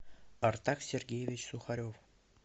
артак сергеевич сухарев